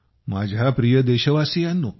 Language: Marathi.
माझ्या प्रिय देशवासियांनो